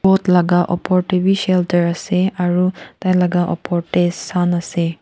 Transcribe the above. laga opor teh bhi shelter ase aru tai laga opor teh sun ase.